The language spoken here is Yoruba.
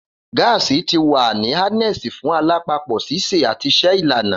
Gaasi ti wa ni harnessed fun alapapo, sise, ati ise ilana.